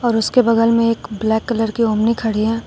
और उसके बगल में एक ब्लैक कलर की ओमनी खड़ी है।